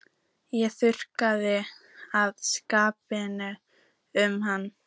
Ég þurfti að skipta um hann.